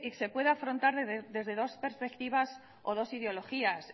se puede afrontar desde dos perspectivas o dos ideologías